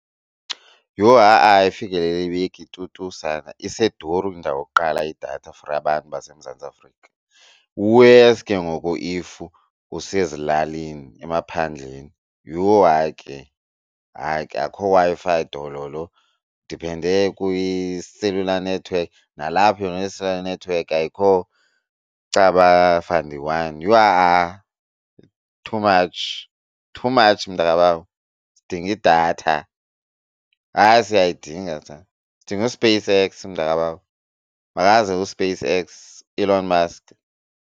Yhu ha-a ayifikeleleki tu tu sana iseduru indawo kuqala idatha for abantu baseMzantsi Afrika, wesi ke ngoku if usezilalini emaphandleni. Yhu hayi ke, hayi ke akukho Wi-Fi dololo. Ndiphende kwi-cellular network nalapho yona i-cellular network ayikho caba yhu, ha-a too much too much mntakabawo. Sidinga idatha, hayi siyayidinga sana sidinga uSpaceX mntakabawo makaze uSpaceX Elon Mask.